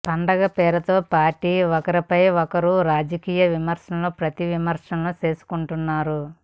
పండగ పేరుతో పార్టీలు ఒకరిపై ఒకరు రాజకీయ విమర్శలు ప్రతి విమర్శలు చేసుకుంటున్నారు